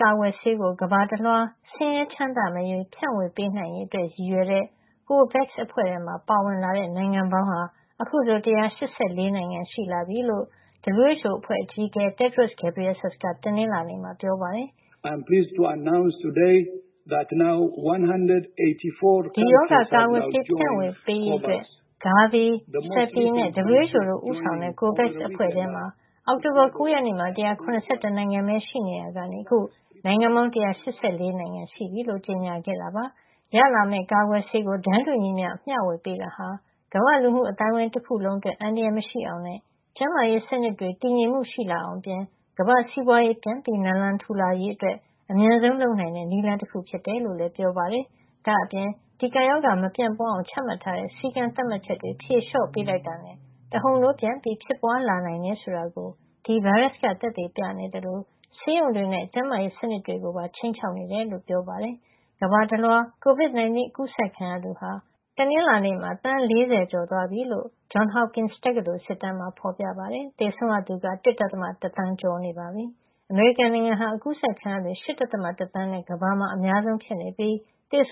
ကာကွယ်ဆေးကို ကမ္ဘာတလွှား ဆင်းရဲချမ်းသာမရွေး ဖြန့်ဝေပေးနိုင်ရေးအတွက် ရည်ရွယ်တဲ့ COVAX အဖွဲ့ထဲမှာ ပါဝင်လာတဲ့ နိုင်ငံပေါင်းဟာ အခုဆို ၁၈၄ နိုင်ငံ ရှိလာပြီလို့ WHO ကမ္ဘာ့ကျန်းမာရေးအဖွဲ့ အကြီးအကဲ Tedros Adhanom Ghebreyesus က တနင်္လာနေ့ Geneva သတင်းစာရှင်းလင်းပွဲမှာ ပြောပါတယ်။ ဒီရောဂါကာကွယ်ဆေး ဖြန့်ဝေပေးရေးအတွက် GAVI, CEPI နဲ့ WHO တို့ ဦးဆောင်တဲ့ COVAX အဖွဲ့ ထဲမှာ အောက်တိုဘာလ ၉ ရက်နေ့မှာ ၁၇၁ နိုင်ငံ ပဲ ရှိရာကနေ အခုနိုင်ငံပေါင်း ၁၈၄ နိုင်ငံရှိလာပြီ ဆိုတာကို ကြေညာခဲ့တာပါ။ ရလာမယ့် ကာကွယ်ဆေးကို တန်းတူညီမ ျှ မ ျှဝေပေးတာဟာ ကမ္ဘာ့လူမှု အသိုင်းဝိုင်း တခုလုံး အတွက် အန္တရာယ်မရှိအောင်နဲ့ ကျန်းမာရေးစနစ်တွေ တည်ငြိမ်မှုရှိလာအောင်အပြင် ကမ္ဘာ့စီးပွါးရေး ပြန်နလံထူလာရေးတွေ အတွက် အမြန်ဆုံး လုပ်နိုင်တဲ့ နည်းလမ်း တခု ဖြစ်ကြောင်းလည်း ပြောပါတယ်။ ဒါ့အပြင် ဒီ ကပ်ရောဂါမပြန့်ပွါးအောင် ချမှတ်ထားတဲ့ စည်းကမ်းသတ်မှတ်ချက်တွေ ဖြေလေ ျှာ့ ပေးလိုက်တာနဲ့ တဟုန်ထိုး ပြန်ဖြစ်ပွား လာနိုင်တယ် ဆိုတာကို ဒီဗိုင်းရပ်စ်က ပြနေသလို ဆေးရုံတွေနဲ့ ကျန်းမာရေးစနစ်တွေကိုပါ ခြိမ်းခြောက်လာတာ တွေ့ရကြောင်းလည်း ပြောပါတယ်။ ကမ္ဘာတလွှား COVID-19 အကူးစက်ခံရသူဟာ တနင်္လာနေ့မှာ သန်း ၄၀ ကျော်သွား ပြီလို့ ဒီကပ်ရောဂါဆိုင်ရာ စောင့်ကြည့်မှတ်တမ်းတင်နေတဲ့ အမေရိကန် Johns Hopkins တက္ကသိုလ် စစ်တမ်းမှာ ဖေါ်ပြထားပါတယ်။ သေဆုံးရသူကလည်း ၁.၁ သန်းကျော်သွားပြီ ဖြစ်ပါတယ်။ အမေရိကန်နိုင်ငံက အကူးစက်ခံရသူ ၈.၁ သန်းနဲ့ ကမ္ဘာမှာ အများဆုံး ဖြစ်နေပြီး သေဆ